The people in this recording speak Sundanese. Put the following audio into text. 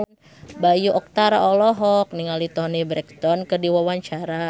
Bayu Octara olohok ningali Toni Brexton keur diwawancara